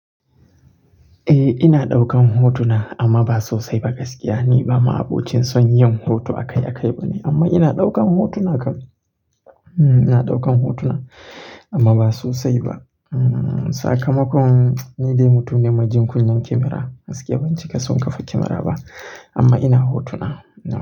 Eh ina ɗaukan hotuna amma ba sosai ba gaskiya ni ba ma abocin son yin hoto akai-akai ba ne amma ina ɗaukan hotuna kam ina ɗaukan hotuna amma ba sosai ba. Sakamakon ni dai mutum ne mai jin kunyan kyamara, gaskiya ban cika son kafa kyamara ba amma ina hotuna.